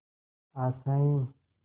आशाएं